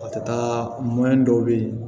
A tɛ taa mɔni dɔw bɛ ye